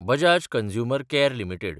Bajaj consumer care limited